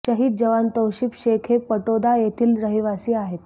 शहीद जवान तौशिब शेख हे पाटोदा येथील रहिवासी आहेत